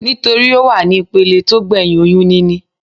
Nítorí Ó wà ní ìpele tó gbẹ̀hìn oyún níní.